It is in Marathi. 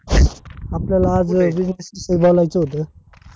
आपल्याला आज business विषयी बोलायच होत